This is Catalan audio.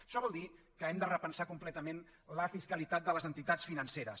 això vol dir que hem de repensar completament la fiscalitat de les entitats financeres